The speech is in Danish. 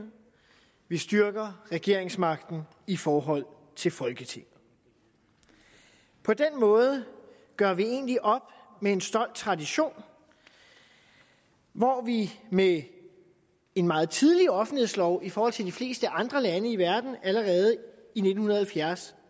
vi styrker regeringsmagten i forhold til folketinget på den måde gør vi egentlig op med en stolt tradition hvor vi med en meget tidlig offentlighedslov i forhold til de fleste andre lande i verden allerede i nitten halvfjerds